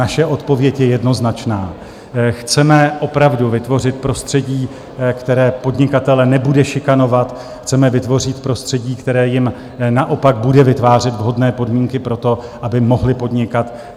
Naše odpověď je jednoznačná: chceme opravdu vytvořit prostředí, které podnikatele nebude šikanovat, chceme vytvořit prostředí, které jim naopak bude vytvářet vhodné podmínky pro to, aby mohli podnikat.